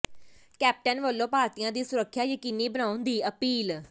captain ਵੱਲੋਂ ਭਾਰਤੀਆਂ ਦੀ ਸੁਰੱਖਿਆ ਯਕੀਨੀ ਬਣਾਉਣ ਦੀ ਅਪੀਲ